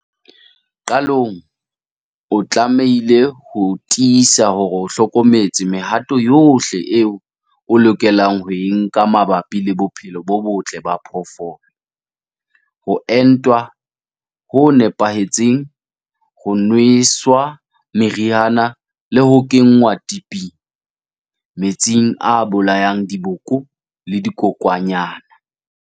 Qalong, o tlamehile ho tiisa hore o hlokometse mehato yohle eo o lokelang ho e nka mabapi le bophelo bo botle ba phoofolo - ho entwa ho nepahetseng, ho nweswa meriana le ho kenngwa tiping, metsing a bolayang diboko le dikokwanyana.